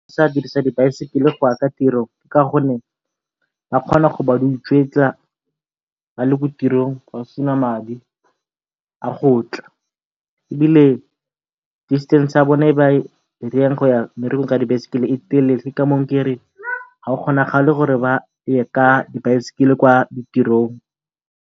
di baesekele go ya ka tiro ka gonne ba kgona go ba di ba utswetsa ba le ko tirong ba sena madi a go tla, ebile distance ya bone e ba e go ya mmerekong ka dibaesekele tsa e telele ke ka moo kereng ga go kgonagale gore ba ye ka dibaesekele kwa ditirong.